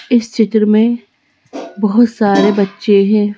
इस चित्र में बहुत सारे बच्चे हैं।